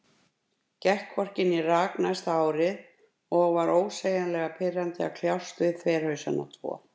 Gekk hvorki né rak næsta árið, og var ósegjanlega pirrandi að kljást við þverhausana tvo.